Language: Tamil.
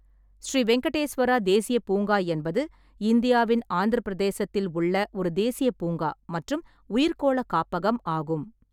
ஸ்ரீ வெங்கடேஸ்வரா தேசியப் பூங்கா என்பது இந்தியாவின் ஆந்திரப் பிரதேசத்தில் உள்ள ஒரு தேசியப் பூங்கா மற்றும் உயிர்க்கோள காப்பகம் ஆகும்.